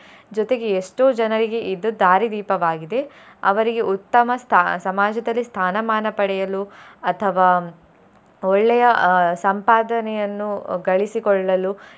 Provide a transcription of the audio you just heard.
ಜೊತೆಗೆ ಎಷ್ಟೋ ಜನರಿಗೆ ಇದು ದಾರಿದೀಪವಾಗಿದೆ ಅವರಿಗೆ ಉತ್ತಮ ಸ್ಥಾ~ ಸಮಾಜದಲ್ಲಿ ಸ್ಥಾನಮಾನ ಪಡೆಯಲು ಅಥವಾ ಒಳ್ಳೆಯ ಅಹ್ ಸಂಪದನೆಯನ್ನು ಗಳಿಸಿಕೊಳ್ಳಲು.